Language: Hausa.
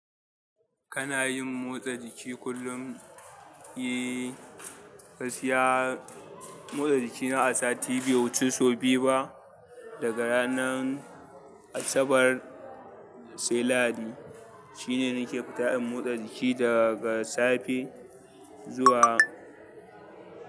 Kana yin motsa jiki kullum? Eh, gaskiya, motsa jiki na a sati bai wuci sau biyu ba, daga ranan Asabar sai Lahadi. Shi ne nake fita in motsa jiki daga safe zuwa.